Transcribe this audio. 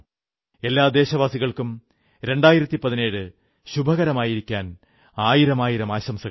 എല്ലാ ദേശവാസികൾക്കും 2017 ശുഭകരമായിരിക്കാൻ ആയിരമായിരം ആശംസകൾ